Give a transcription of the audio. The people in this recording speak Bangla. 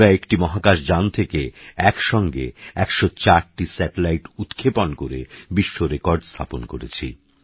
আমরাএকটিমহাকাশযানথেকেএকসঙ্গে১০৪টিস্যাটেলাইটউৎক্ষেপণকরেবিশ্বরেকর্ডস্থাপনকরেছি